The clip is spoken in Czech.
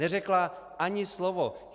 Neřekla ani slovo.